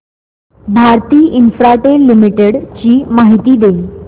Bharti Infratel limited ची माहिती दे